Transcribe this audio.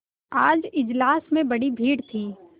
आज इजलास में बड़ी भीड़ थी